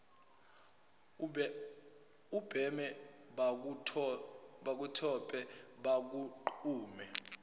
ubheme bakutshope bakugqume